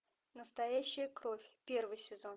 настоящая кровь первый сезон